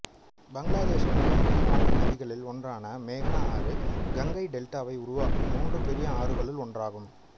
பங்களாதேஷின் மிக முக்கியமான நதிகளில் ஒன்றான மேகனா ஆறு கங்கை டெல்டாவை உருவாக்கும் மூன்று பெரிய ஆறுகளுள் ஒன்றாகும்